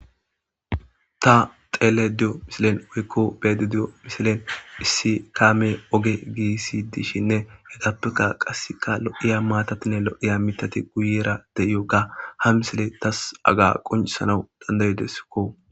ta xele diyo misilen woykko beede diyo misilen issi kaame oge giisi dishinne hegappeka qasseka lo7iya maatatinne lo7iya mitati guyera deiyokka ha misile tas aga qoncisana dandayideskko